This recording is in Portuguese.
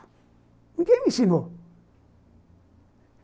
Ninguém me ensinou.